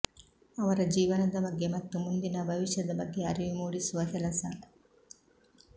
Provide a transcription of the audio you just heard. ಅವರ ಜೀವನದ ಬಗ್ಗೆ ಮತ್ತು ಮುಂದಿನ ಭವಿಷ್ಯದ ಬಗ್ಗೆ ಅರಿವು ಮೂಡಿಸುವ ಕೆಲಸ